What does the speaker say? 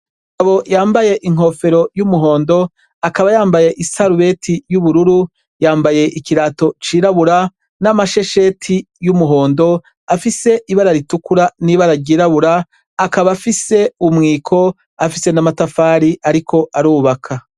Umugabo yambaye inkofero yumuhondo akaba yambaye isarubeti yubururu yambaye ikirato cirabura namashesheti yumuhondo afise ibara ritukura nibara ryera akaba afise umwiko afise namatafari ariko arubaka